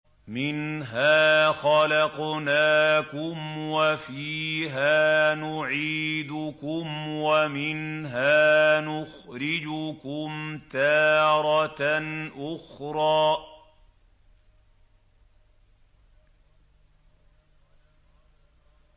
۞ مِنْهَا خَلَقْنَاكُمْ وَفِيهَا نُعِيدُكُمْ وَمِنْهَا نُخْرِجُكُمْ تَارَةً أُخْرَىٰ